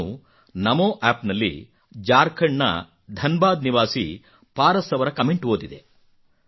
ನಾನು ನಮೋ ಆಪ್ ನಲ್ಲಿ ಜಾರ್ಖಂಡ್ ನ ಧನ್ ಬಾದ್ ನಿವಾಸಿ ಪಾರಸ್ ಅವರ ಕಮೆಂಟ್ ಓದಿದೆ